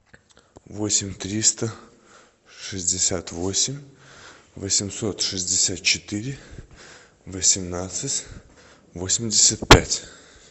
восемь триста шестьдесят восемь восемьсот шестьдесят четыре восемнадцать восемьдесят пять